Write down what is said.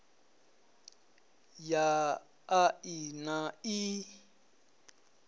ya a i na ii